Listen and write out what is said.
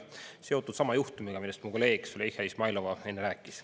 See on seotud sama juhtumiga, millest mu kolleeg Züleyxa Izmailova enne rääkis.